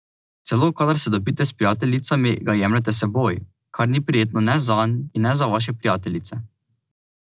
Celo kadar se dobite s prijateljicami ga jemljete s seboj, kar ni prijetno ne zanj in ne za vaše prijateljice.